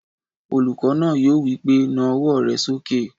Olùkọ́ náà yóò wí pé "na ọwọ́ rẹ sókè!"